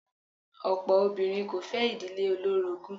Ọ̀pọ̀ obìnrin kò fẹ́ ìdílé olórogún.